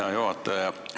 Hea juhataja!